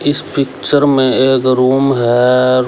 इस पिक्चर में एक रूम है।